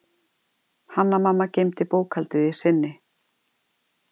Hanna-Mamma geymdi bókhaldið í sinni.